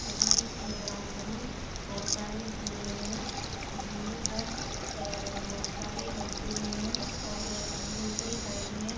यहाँ एक playground में बहुत सारे झूले है झूले पर अ बहुतसारे बच्चे भी है और दूसरी साईड में --